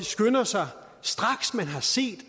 skynder sig straks man har set